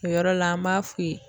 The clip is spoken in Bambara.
O yɔrɔ la an b'a f'u ye.